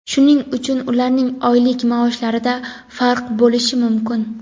Shuning uchun ularning oylik maoshlarida farq bo‘lishi mumkin.